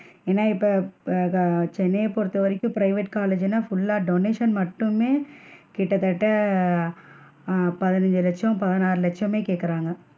ஏன்னா? இப்ப ஆஹ் சென்னைய பொறுத்த வரைக்கும் private college னா full லா donation மட்டுமே கிட்டதட்ட ஆஹ் பதினச்சு லட்சம் பதினாறு லட்சமே கேக்குறாங்க,